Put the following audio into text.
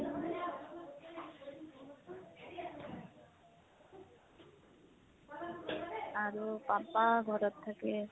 আৰু papa ঘাৰত থাকে